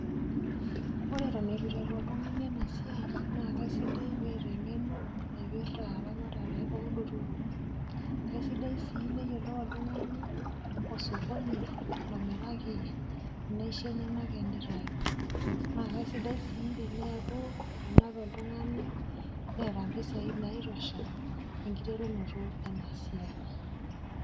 Ore toneitu eiteru oltungani ena siai naakeisidai peeta eng'eno naipirta eramatare oolotorok, kaisidai sii neyolou oltung'ani osokoni lomiraki naisho enyenak teneitayu. Nake sidai sii tenaaku etanape oltung'ani neeta mpisai naitosha enkiterunoto ena siai.